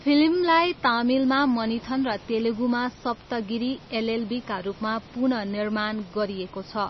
फिल्मलाई तमिलमा मनिथन र तेलुगुमा सप्तगिरी एलएलबीका रूपमा पुनः निर्माण गरिएको छ।